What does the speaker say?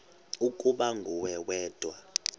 ukuba nguwe wedwa